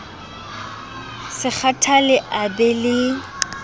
se kgathale a be le